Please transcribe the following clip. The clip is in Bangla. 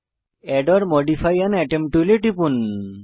add or modify an atom টুলে টিপুন